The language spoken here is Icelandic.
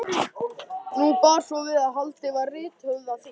Nú bar svo við að haldið var rithöfundaþing.